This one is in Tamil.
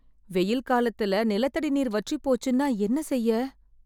வெயில் காலத்துல நிலத்தடி நீர் வற்றிப் போச்சுன்னா என்ன செய்ய?